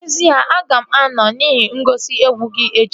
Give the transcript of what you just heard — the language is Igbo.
N'ezie, aga m anọ n'ihe ngosi egwu gị echi